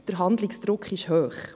Der Handlungsdruck ist hoch.